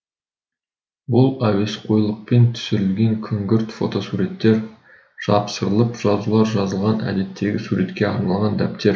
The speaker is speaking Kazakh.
бұл әуесқойлықпен түсірілген күңгірт фотосуреттер жапсырылып жазулар жазылған әдеттегі суретке арналған дәптер